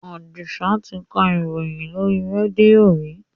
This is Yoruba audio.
Àdìsá ti ka ìròyìn lóri rédíò rí.